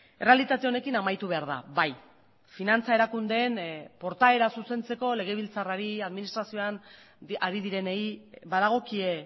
errealitate honekin amaitu behar da bai finantza erakundeen portaera zuzentzeko legebiltzarrari administrazioan ari direnei badagokie